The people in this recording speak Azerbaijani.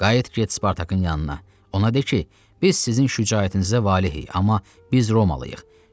Qayıt get Spartakın yanına, ona de ki, biz sizin şücaətinizə valehiyik, amma biz Romalıyıq.